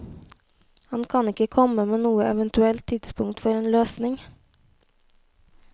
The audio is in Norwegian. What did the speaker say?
Han kan ikke komme med noe eventuelt tidspunkt for en løsning.